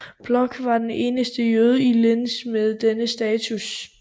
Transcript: Bloch var den eneste jøde i Linz med denne status